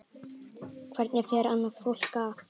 Hvernig fer annað fólk að?